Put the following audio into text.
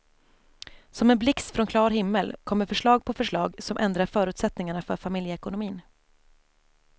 Som en blixt från klar himmel kommer förslag på förslag som ändrar förutsättningarna för familjeekonomin.